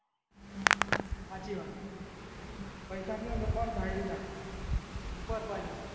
હાચી વાત એ પેસા ના હોય ને કાય થાય ભી ના કોઈ કોઈ ના થયે